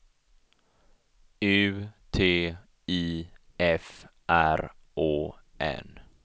U T I F R Å N